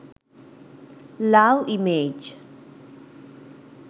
love image